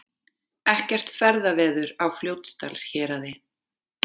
Ekkert ferðaveður á Fljótsdalshéraði